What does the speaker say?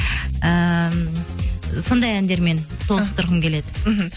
ііі сондай әндермен толықтырғым келеді мхм